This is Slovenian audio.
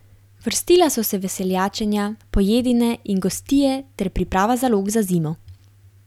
Vrstila so se veseljačenja, pojedine in gostije ter priprava zalog za zimo.